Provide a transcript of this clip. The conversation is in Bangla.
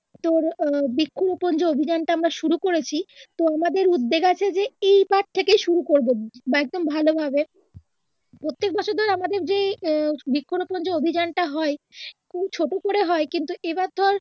তোর বৃক্ষ রোপন অভিযান টা আমরা শুরু করেছি তো আমাদের উদ্দ্যেগ আছে যে এই বার থেকে শুরু করবো বা একদম ভালো ভাবেই প্রত্যেক বছর ধরে আমাদের যে আহ বৃক্ষ রোপন যে অভিজানটা হয় খুব ছোট করে হয় কিন্তু এইবার ধর